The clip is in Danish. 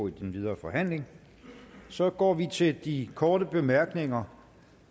i den videre forhandling så går vi til de korte bemærkninger